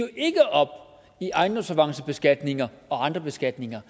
op i ejendomsavancebeskatninger og andre beskatninger